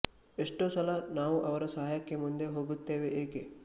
ಎಷ್ಟೋ ಸಲ ನಾವು ಅವರ ಸಹಾಯಕ್ಕೆ ಮುಂದೆ ಹೋಗುತ್ತೇವೆ ಏಕೆ